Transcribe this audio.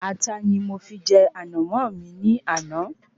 Ata ni mo fi jẹ Ànàmó mi ní àná